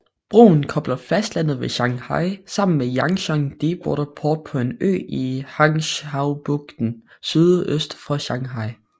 Broen kobler fastlandet ved Shanghai sammen med Yangshan Deepwater Port på en ø i Hangzhoubugten sydøst for Shanghai